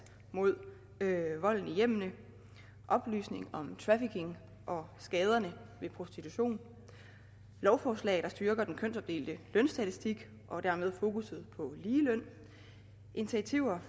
mod volden i hjemmene oplysning om trafficking og skaderne ved prostitution lovforslag der styrker den kønsopdelte lønstatistik og dermed fokusset på ligeløn initiativer